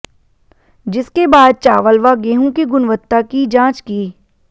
जिसके बाद चावल व गेहूं की गुणवत्ता की जांच की